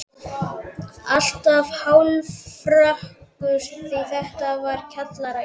Alltaf hálfrökkur því þetta var kjallaraíbúð.